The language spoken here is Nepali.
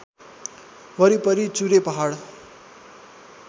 वरिपरि चुरे पहाड